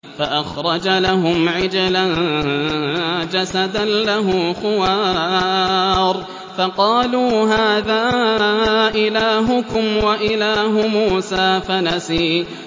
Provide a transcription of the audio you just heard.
فَأَخْرَجَ لَهُمْ عِجْلًا جَسَدًا لَّهُ خُوَارٌ فَقَالُوا هَٰذَا إِلَٰهُكُمْ وَإِلَٰهُ مُوسَىٰ فَنَسِيَ